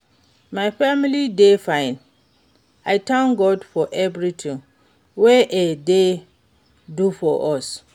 my family dey fine, I thank God for everything wey e dey do for us.